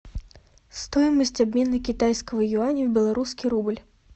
стоимость обмена китайского юаня в белорусский рубль